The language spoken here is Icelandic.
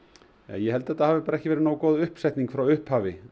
ég held að þetta hafi ekki verið nógu góð uppsetning frá upphafi